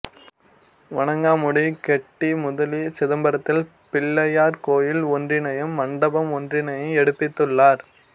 வணங்காமுடி கெட்டி முதலி சிதம்பரத்தில் பிள்ளையார் கோயில் ஒன்றினையும் மண்டபம் ஒன்றினையும் எடுப்பித்துள்ளார்